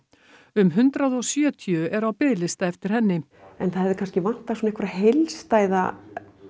um hundrað og sjötíu eru á biðlista eftir henni það hefði kannski vantað heilstæða